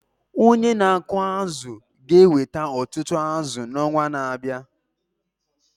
Onye na-akụ azụ̀ ga-eweta ọtụtụ azụ̀ n’ọnwa na-abịa.